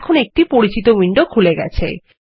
এখনএকটি পরিচিত উইন্ডো খুলে গেছে